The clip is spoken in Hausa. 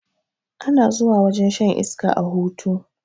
Ana zuwa wajen shan iska a hutu